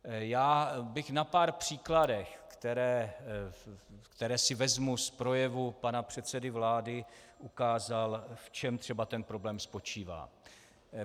Já bych na pár příkladech, které si vezmu z projevu pana předsedy vlády, ukázal, v čem třeba ten problém spočívá.